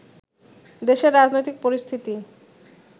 দেশের রাজনৈতিক পরিস্থিতি